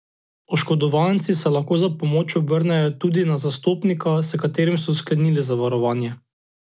Oškodovanci se lahko za pomoč obrnejo tudi na zastopnika, s katerim so sklenili zavarovanje.